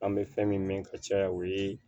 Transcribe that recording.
An bɛ fɛn min ka caya o ye